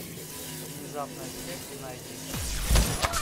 внезапная смерть найди